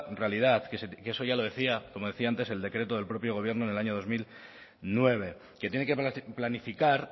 realidad que eso ya lo decía como decía antes el decreto del propio gobierno en el año dos mil nueve que tiene que planificar